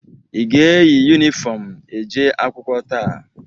Ị ga-eyi yunifọmụ eje akwụkwọ taa?